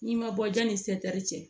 N'i ma bɔ janni ni setɛri cɛ